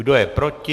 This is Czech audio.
Kdo je proti?